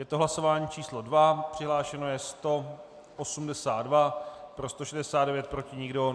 Je to hlasování číslo 2, přihlášeno je 182, pro 169, proti nikdo.